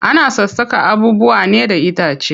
Ana sassaka abubuwa ne da itace.